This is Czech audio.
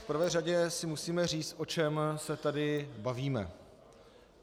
V prvé řadě si musíme říct, o čem se tady bavíme.